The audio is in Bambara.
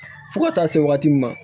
Fo ka taa se waati min ma